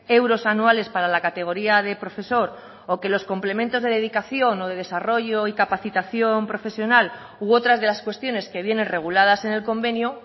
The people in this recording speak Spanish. euros anuales para la categoría de profesor o que los complementos de dedicación o de desarrollo y capacitación profesional u otras de las cuestiones que vienen reguladas en el convenio